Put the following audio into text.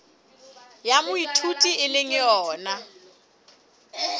ya moithuti e le yona